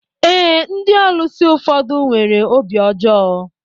Ee, ndị ọlusi ụfọdụ nwere obi ọjọọ